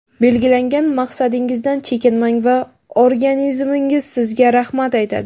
Belgilangan maqsadingizdan chekinmang va organizmingiz sizga rahmat aytadi!